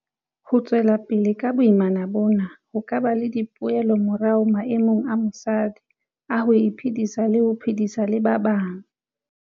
Ho tswela pele ka boimana bona ho ka ba le dipoelomorao maemong a mosadi a ho iphedisa le ho phedisana le ba bang.